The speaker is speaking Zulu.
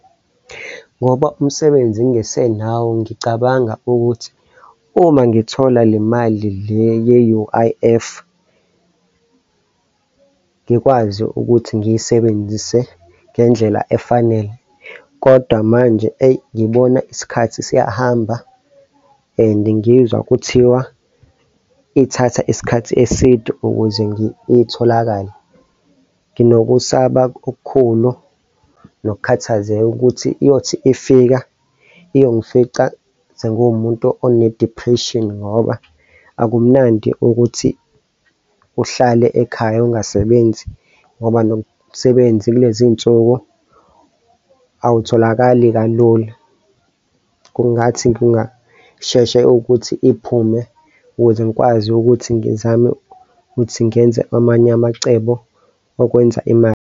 Ngoba umsebenzi ngingesenawo ngicabanga ukuthi uma ngithola le mali le ye-U_I_F, ngikwazi ukuthi ngiyisebenzise ngendlela efanele kodwa manje, eyi, ngibona isikhathi siyahamba and ngizwa kuthiwa ithatha isikhathi eside ukuze itholakale. Nginokusaba okukhulu nokukhathazeka ukuthi iyothi ifika iyongifica senguwumuntu one-depression, ngoba akumnandi ukuthi uhlale ekhaya ungasebenzi ngoba nomsebenza kulezinsuku awutholakali kalula. Kungathi ngingasheshe ukuthi iphume ukuze ngikwazi ukuthi ngizame ukuthi ngenze amanye amacebo okwenza imali.